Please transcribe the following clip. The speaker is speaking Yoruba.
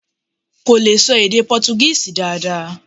Kò lè ṣọ èdè Pọ́túgíìsì dáadáa.